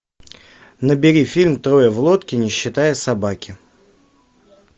набери фильм трое в лодке не считая собаки